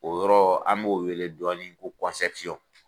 O yɔrɔ an b'o wele dɔnin ko kɔnsɛpusɔn